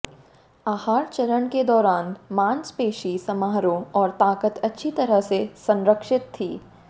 आहार चरण के दौरान मांसपेशी समारोह और ताकत अच्छी तरह से संरक्षित थी